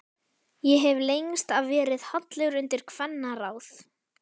Ég hef lengst af verið hallur undir kvennaráð.